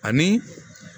Ani